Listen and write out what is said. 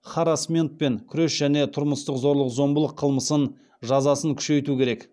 харассментпен күрес және тұрмыстық зорлық зомбылық қылмысының жазасын күшейту керек